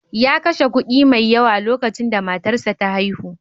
Ya kashe kuɗi mai yawa lokacin da matarsa ta haihu.